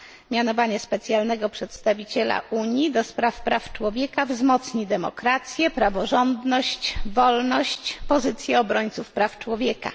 Mianowanie specjalnego przedstawiciela Unii do spraw praw człowieka wzmocni demokrację, praworządność, wolność, pozycję obrońców praw człowieka.